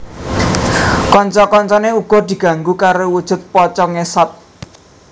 Kanca kancané uga diganggu karo wujud pocong ngesot